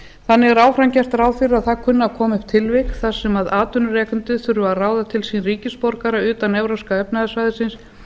þannig er áfram gert ráð fyrir að það kunni að koma upp tilvik þar sem atvinnurekandi þurfi að ráða til sín ríkisborgara utan evrópska efnahagssvæðisins